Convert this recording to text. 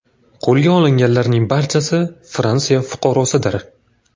Qo‘lga olinganlarning barchasi Fransiya fuqarosidir.